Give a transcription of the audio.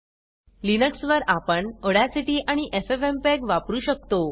Linux वर आपण Audacity आणि एफएफएमपीईजी वापरु शकतो